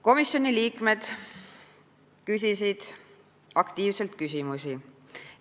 Komisjoni liikmed küsisid aktiivselt küsimusi.